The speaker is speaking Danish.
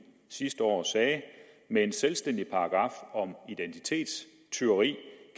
sidste år sagde med en selvstændig paragraf om identitetstyveri